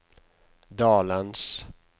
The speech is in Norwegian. dalens